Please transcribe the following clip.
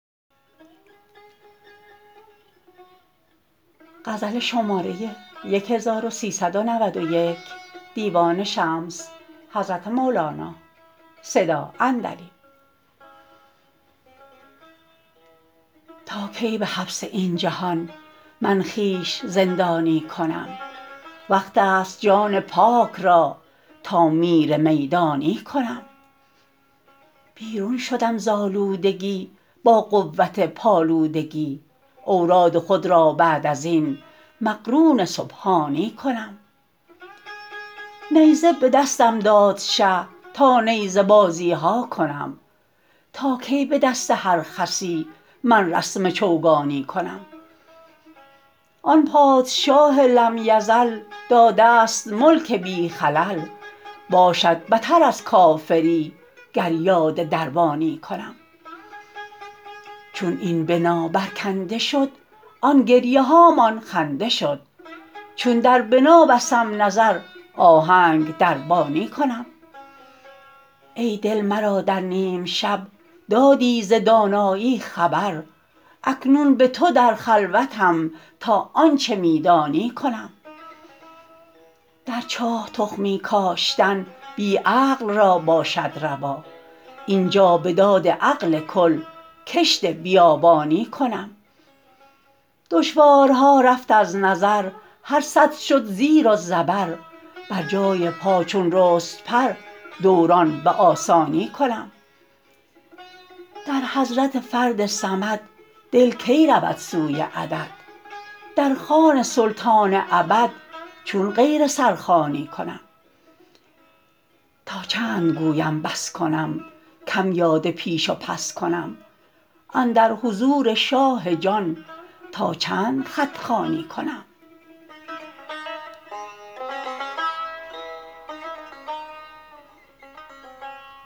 تا کی به حبس این جهان من خویش زندانی کنم وقت ست جان پاک را تا میر میدانی کنم بیرون شدم ز آلودگی با قوت پالودگی اوراد خود را بعد از این مقرون سبحانی کنم نیزه به دستم داد شه تا نیزه بازی ها کنم تا کی به دست هر خسی من رسم چوگانی کنم آن پادشاه لم یزل داده ست ملک بی خلل باشد بتر از کافری گر یاد دربانی کنم چون این بنا برکنده شد آن گریه هامان خنده شد چون در بنا بستم نظر آهنگ دربانی کنم ای دل مرا در نیم شب دادی ز دانایی خبر اکنون به تو در خلوتم تا آنچ می دانی کنم در چاه تخمی کاشتن بی عقل را باشد روا این جا به داد عقل کل کشت بیابانی کنم دشوارها رفت از نظر هر سد شد زیر و زبر بر جای پا چون رست پر دوران به آسانی کنم در حضرت فرد صمد دل کی رود سوی عدد در خوان سلطان ابد چون غیر سرخوانی کنم تا چند گویم بس کنم کم یاد پیش و پس کنم اندر حضور شاه جان تا چند خط خوانی کنم